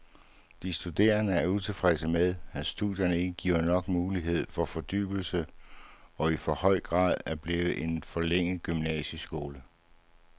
De studerende er utilfredse med, at studierne ikke giver nok mulighed for fordybelse og i for høj grad er blevet en forlænget gymnasieskole.